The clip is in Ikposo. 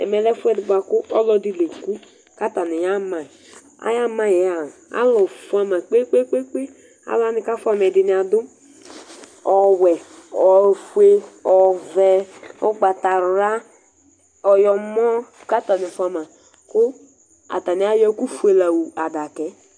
ɛmɛ lɛ ɛfuɛdi buaku ɔluɛdi léku katani yama ayamayi yɛa alu fuama kpékpékpé alu wani ka fuama ɛdini adu ɔwɛ ofué ɔvɛ ugbata wlă ɔyɔmɔ ka atani fuama ku atani ayɔ ɛku fué la wu adakaɛ